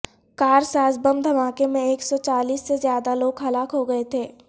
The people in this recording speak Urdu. کار ساز بم دھماکے میں ایک سو چالیس سے زیادہ لوگ ہلاک ہو گئے تھے